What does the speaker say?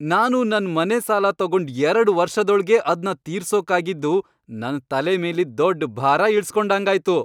ನಾನು ನನ್ ಮನೆ ಸಾಲ ತಗೊಂಡ್ ಎರಡ್ ವರ್ಷದೊಳ್ಗೇ ಅದ್ನ ತೀರ್ಸೋಕಾಗಿದ್ದು, ನನ್ ತಲೆ ಮೇಲಿದ್ ದೊಡ್ಡ್ ಭಾರ ಇಳುಸ್ಕೊಂಡಂಗಾಯ್ತು.